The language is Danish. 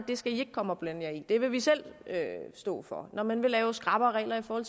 det skal i ikke komme og blande jer i det vil vi selv stå for når man vil lave skrappere regler for